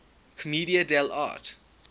commedia dell arte